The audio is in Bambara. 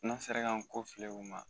N'an sera k'an kɔfilɛ u ma